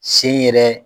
Sen yɛrɛ